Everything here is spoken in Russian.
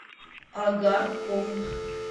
агаркову